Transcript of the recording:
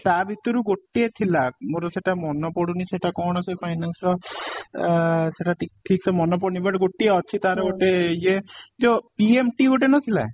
ତା ଭିତରୁ ଗୋଟିଏ ଥିଲା ମୋର ସେଇଟା ମନ ପଡୁନି ସେଇଟା କ'ଣ ସେ finance ର ଅ ସେଇଟା ଠିକ ଠିକ ସେ ମନେ ପଡୁନି but ଗୋଟିଏ ଅଛି ତାର ଗୋଟେ ଇଏ ଯୋଉ PMT ଗୋଟେ ନ ଥିଲା